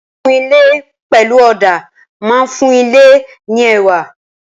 Kíkun ilé pẹ̀lú ọ̀dà máa fún ilé ní ẹwà.